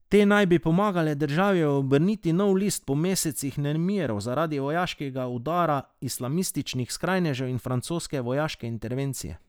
Te naj bi pomagale državi obrniti nov list po mesecih nemirov zaradi vojaškega urada, islamističnih skrajnežev in francoske vojaške intervencije.